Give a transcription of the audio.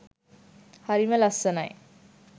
හරිම ලස්සනයි